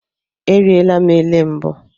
Eriela m elé mbụ.